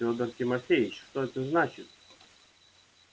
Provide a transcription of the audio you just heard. федор тимофеич это что значит